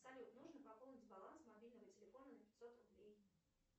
салют нужно пополнить баланс мобильного телефона на пятьсот рублей